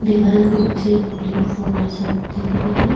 Wall के पीछे एक प्लेटफार्म जैसा दिख रहा है।